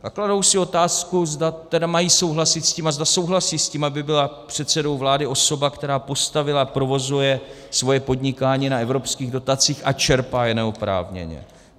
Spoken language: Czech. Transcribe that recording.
A kladou si otázku, zda tedy mají souhlasit s tím a zda souhlasí s tím, aby byla předsedou vlády osoba, která postavila a provozuje svoje podnikání na evropských dotacích a čerpá je neoprávněně.